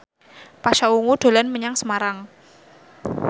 Pasha Ungu dolan menyang Semarang